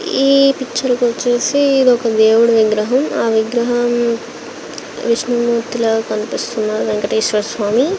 ఈ పిక్చర్ వచ్చేసి ఇదొక దేవుడి విగ్రహం ఆ విగ్రహాన్ విష్ణుమూర్తి లాగా కనిపిస్తున్న వెంకటేశ్వర స్వామి.